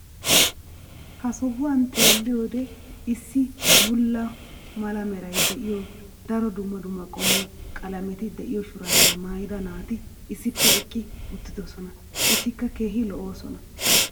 ha sohuwan xeelliyoode issi bulla mala meray de'iyo daro dumma dumma qommo qalametti diyo shuraabiya maayida naati issippe eqqi uttidosona. etikka keehi lo'oosona.